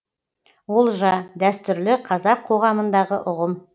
олжа дәстүрлі қазақ қоғамындағы ұғым